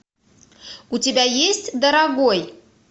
у тебя есть дорогой